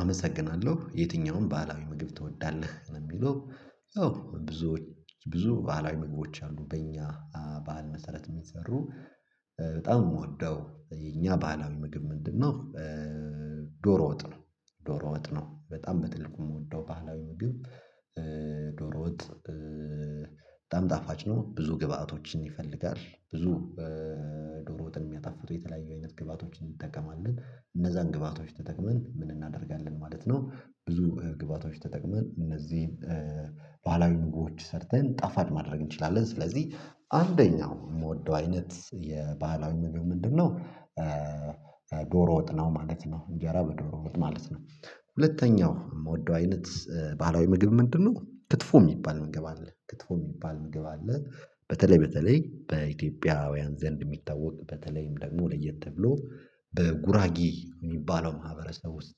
አመሰግናለሁ የትኛውን ባህላዊ ምግብ ትወዳለህ ነው የሚለው? ያው ብዙዎች ብዙ ባህላዊ ምግቦች አሉ በእኛ ባህል መሰረት የሚሰሩ። በጣም የምወደው የኛ ባህላዊ ምግብ ምንድነው? ዶሮ ወጥ ነው። ዶሮ ወጥ ነው በጣም በትልቁ የምወደው ባህላዊ ምግብ። ዶሮ ወጥ በጣም ጣፋጭ ነው። ብዙ ግብአቶችን ይፈልጋል። ብዙ ዶሮ ወጥን የሚያጣፍጡ የተለያዩ አይነት ግብአቶችን እንጠቀማለን። እነዛን ግብአቶች ተጠቅመን ምን እናደርጋለን ማለት ነው። ብዙ ግብአቶች ተጠቅመን እነዚህን ባህላዊ ምግቦች ሰርተን ጣፋጭ ማድረግ እንችላለን። ስለዚህ አንደኛው የምወደው አይነት የባህላዊ ምግብ ምንድን ነው? ዶሮ ወጥ ነው ማለት ነው። እንጀራ በዶሮ ወጥ ማለት ነው። ሁለተኛው የምወደው አይነት ባህላዊ ምግብ ምንድነው? ክትፎ የሚባል ምግብ አለ ክትፎ የሚባል ምግብ አለ። በተለይ በተለይ በኢትዮጵያውያን ዘንድ የሚታወቅ በተለይም ደግሞ ለየት ብሎ በጉራጌ እሚባለው ማህበረሰብ ውስጥ።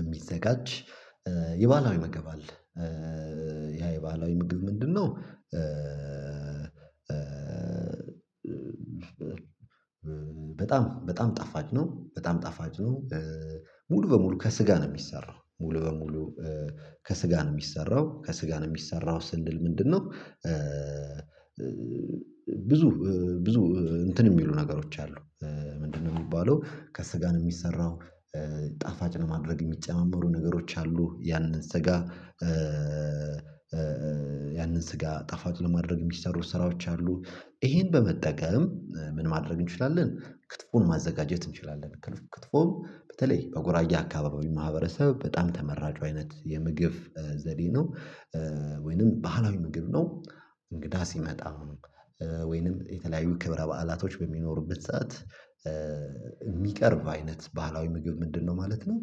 የሚዘጋጅ የባህላዊ መግብ አለ። ያ የባህላዊ ምግብ ምንድን ነው? በጣም በጣም ጣፋች ነው በጣም ጣፋች ነው። ሙሉ በሙሉ ከስጋ ነው እሚሰራው ሙሉ በሙሉ። ከስጋ ነው እሚሰራው ከስጋ ነው የሚሰራው ስንል ምንድን ነው? ብዙ ብዙ እንትን የሚሉ ነገሮች አሉ። ምንድን ነው የሚባለው ከስጋ ነው የሚሰራው። ጣፋጭ ለማድረግ የሚጨማመሩ ነገሮች አሉ። ያንን ስጋ ያንን ስጋ ጣፋጭ ለማድረግ የሚሰሩ ስራዎች አሉ። ይሄን በመጠቀም ምን ማድረግ እንችላለን ክትፎን ማዘጋጀት እንችላለን። ክትፎ በተለይ በጎራጌ አካባቢ ማህበረሰብ በጣም ተመራጩ አይነት የምግብ ዘዴ ነው። ወይንም ባህላዊ ምግብ ነው። እንግዳ ሲመጣ ወይንም የተለያዩ ክብረ በዓላቶች በሚኖሩበት ሰዓት። የሚቀርብ አይነት ባህላዊ ምግብ ምንድነው ማለት ነው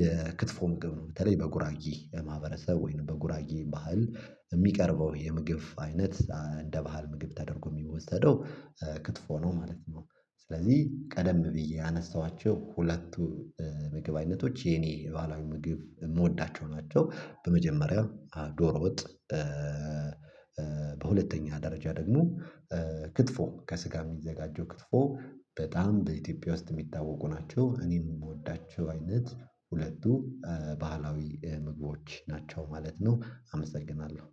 የክትፎ ምግብ ነው። በተለይ በጉራጌ ማህበረሰብ ወይንም በጉራጌ ባህል የሚቀርበው የምግብ አይነት እንደ ባህል ምግብ ተደርጎ የሚወሰደው ክትፎ ነው ማለት ነው። ስለዚህ ቀደም ብዬ ያነሳኋቸው ሁለቱ የምግብ አይነቶች የኔ ሉዓላዊ ምግብ የምወዳቸው ናቸው። በመጀመሪያው ዶሮ ወጥ። በሁለተኛ ደረጃ ደግሞ ክትፎ ከስጋ የሚዘጋጀው ክትፎ በጣም በኢትዮጵያ ውስጥ የሚታወቁ ናቸው። እኔም የምወዳቸው አይነት ሁለቱ ባህላዊ ምግቦች ናቸው ማለት ነው። አመሰግናለሁ